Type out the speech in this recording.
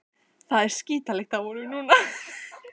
Það er skítalykt af honum núna.